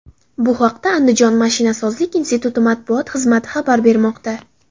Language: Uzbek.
Bu haqda Andijon mashinasozlik instituti matbuot xizmati xabar bermoqda.